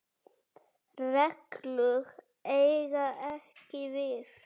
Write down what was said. reglur eiga ekki við.